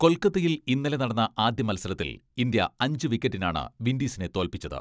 കൊൽക്കത്തയിൽ ഇന്നലെ നടന്ന ആദ്യമത്സരത്തിൽ ഇന്ത്യ അഞ്ചു വിക്ക റ്റിനാണ് വിൻഡീസിനെ തോല്പിച്ചത്.